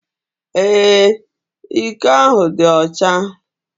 Ee, iko ahụ dị ọcha.